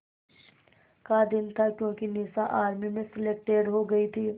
का दिन था क्योंकि निशा आर्मी में सेलेक्टेड हो गई थी